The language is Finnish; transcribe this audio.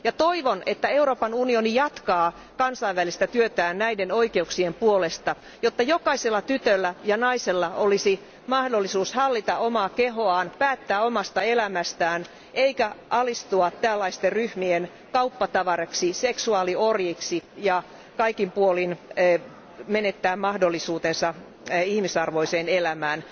Ja toivon, että Euroopan unioni jatkaa kansainvälistä työtään näiden oikeuksien puolesta, jotta jokaisella tytöllä ja naisella olisi mahdollisuus hallita omaa kehoaan, päättää omasta elämästään, eikä alistua tällaisten ryhmien kauppatavaraksi, seksuaaliorjiksi ja kaikin puolin menettää mahdollisuutensa ihmisarvoiseen elämään.